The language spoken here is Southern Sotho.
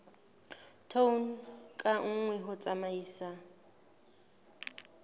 tone ka nngwe ho tsamaisa